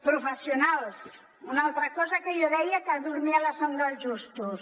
professionals una altra cosa que jo deia que dormia el son dels justos